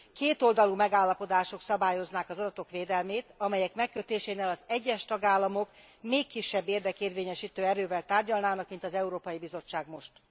Kétoldalú megállapodások szabályoznák az adatok védelmét, amelyek megkötésénél az egyes tagállamok még kisebb érdekérvényesítő erővel tárgyalnának mint az Európai Bizottság most.